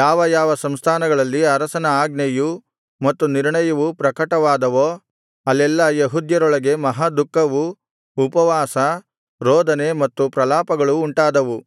ಯಾವ ಯಾವ ಸಂಸ್ಥಾನಗಳಲ್ಲಿ ಅರಸನ ಆಜ್ಞೆಯೂ ಮತ್ತು ನಿರ್ಣಯವೂ ಪ್ರಕಟವಾದವೋ ಅಲ್ಲೆಲ್ಲಾ ಯೆಹೂದ್ಯರೊಳಗೆ ಮಹಾದುಃಖವೂ ಉಪವಾಸ ರೋದನೆ ಮತ್ತು ಪ್ರಲಾಪಗಳೂ ಉಂಟಾದವು